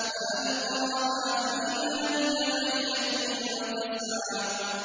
فَأَلْقَاهَا فَإِذَا هِيَ حَيَّةٌ تَسْعَىٰ